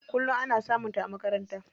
Kullum ana samun ta a makaranta.